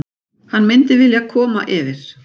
Hann myndi vilja koma yfir.